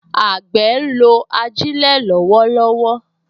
Àgbẹ̀ ń lo ajílẹ̀ lọ́wọ́lọ́wọ́